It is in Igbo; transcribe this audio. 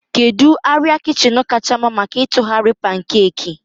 Kedu arịa kichin kacha mma maka ịtụgharị pankeeki?